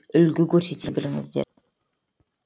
үлгі көрсете біліңіздер